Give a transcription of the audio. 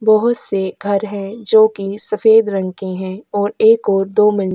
बहुत से घर हैं जो कि सफेद रंग के हैं और एक और दो मिल।